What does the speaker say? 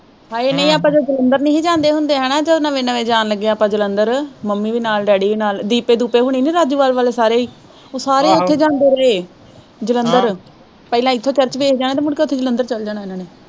ਹਾਏ ਨੀ ਆਪਾਂ ਜਦੋਂ ਜਲੰਧਰ ਨਹੀਂ ਹੀ ਜਾਂਦੇ ਹੁੰਦੇ ਹਨਾਂ ਜਦੋਂ ਨਵੇਂ ਨਵੇਂ ਜਾਣ ਲੱਗੇ ਆਪਾਂ ਜਲੰਧਰ ਮੰਮੀ ਦੇ ਨਾਲ ਡੈਡੀ ਦੇ ਨਾਲ ਦੀਪੇ ਦੂਪੇ ਹੁਣੇ ਨਹੀਂ ਵਾਲੇ ਸਾਰੇ ਓ ਸਾਰੇ ਉੱਥੇ ਜਾਂਦੇ ਰਹੇ ਜਲੰਧਰ ਪਹਿਲਾਂ ਇੱਥੇ church ਵੇਖਦੇ ਰਹਿਣਾ ਤੇ ਮੁੜ ਕੇ ਉੱਥੇ ਜਲੰਧਰ ਚੱਲ ਜਾਣਾ ਉਹਨਾਂ ਨੇ।